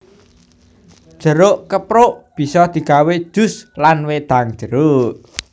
Jeruk keprok bisa digawé jus lan wedang jeruk